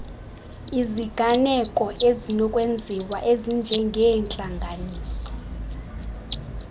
iziganeko ezinokwenziwa ezinjengeentlanganiso